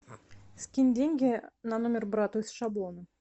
скинь деньги на номер брату из шаблона